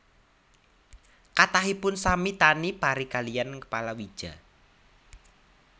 Kathahipun sami tani pari kaliyan palawija